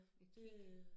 Et kick